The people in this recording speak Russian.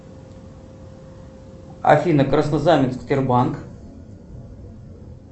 афина краснознаменск сбербанк